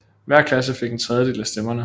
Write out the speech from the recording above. Hver klasse fik en tredjedel af stemmerne